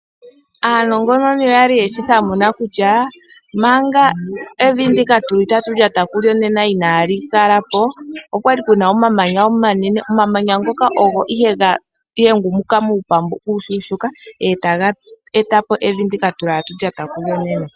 Aanongononi oya li yeshi thamuna kutya manga evi ndika tatu lyata kulyo inaali kala po, okwa li ku na omamanya omanene. Omamanya ngoka ogo nduno ga hengumuka po muupambu uushuushuuka e taga eta po evi ndika tatu lyata kulyo nena.